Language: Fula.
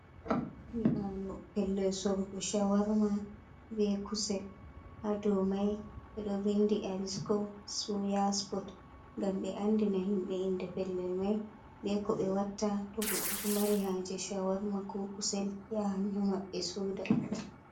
Nyiɓaalo pellel sorugo shawarmaa be kusel ha dow mai ɓe ɗo vindi: "Arisko suya spot" ngam ɓe andina himɓe inde pellel mai be ko ɓe watta to goɗɗo ɗo mari haje shawarmaa ko kusel, yahan ha maɓɓe soda.